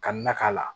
Ka na k'a la